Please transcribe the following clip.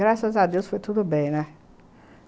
Graças a Deus foi tudo bem, né?